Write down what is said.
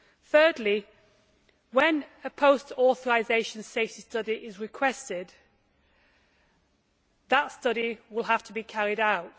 Thirdly, when a post authorisation safety study is requested, that study will have to be carried out.